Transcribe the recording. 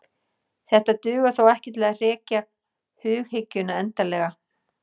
Þetta dugar þó ekki til að hrekja hughyggjuna endanlega.